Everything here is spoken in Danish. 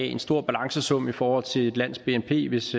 en stor balancesum i forhold til et lands bnp hvis